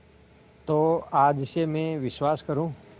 तो आज से मैं विश्वास करूँ